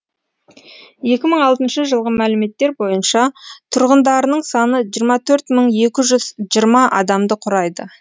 екі мың алтыншы жылғы мәліметтер бойынша тұрғындарының саны жиырма төрт мың екі жүз жиырма адамды құрайды